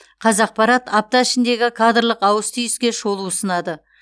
қазақпарат апта ішіндегі кадрлық ауыс түйіске шолу ұсынады